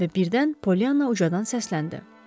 Və birdən Polyana ucadan səsləndi: